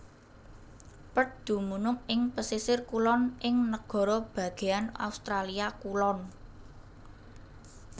Perth dumunung ing pesisir kulon ing Nagara Bagéan Australia Kulon